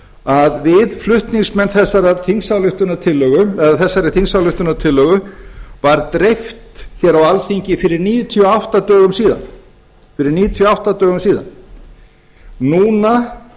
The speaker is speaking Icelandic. að við flutningsmenn þessarar þingsályktunartillögu eða þessari þingsályktunartillögu var dreift hér á alþingi fyrir níutíu og átta dögum síðan fyrir níutíu og átta dögum síðan núna